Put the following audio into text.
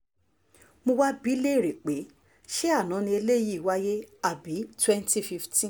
mo wáá ń bi í léèrè pé ṣé àná ni eléyìí wáyé àbí twenty fifteen